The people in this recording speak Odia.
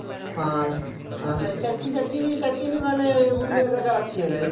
ହଁ ଆଉ ସେଠି ସେଠି ବି ସେଠି ବି ମାନେ ବୁଲିବାକୁ ଜାଗା ଅଛି ହେଲେ